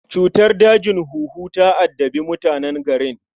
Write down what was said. Cutar dajin huhu ta addabi mutanen garin